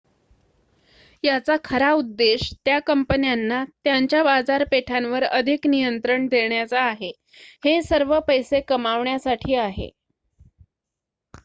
याचा खरा उद्देश त्या कंपन्यांना त्यांच्या बाजारपेठांवर अधिक नियंत्रण देण्याचा आहे हे सर्व पैसे कमवण्यासाठी आहे